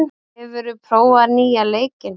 , hefur þú prófað nýja leikinn?